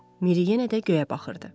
Miri yenə də göyə baxırdı.